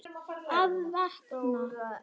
Að vakna.